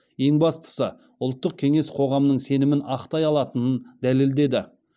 ең бастысы ұлттық кеңес қоғамның сенімін ақтай алатынын дәлелді